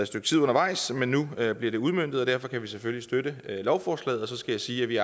stykke tid undervejs men nu bliver det udmøntet og derfor kan vi selvfølgelig støtte lovforslaget så skal jeg sige at vi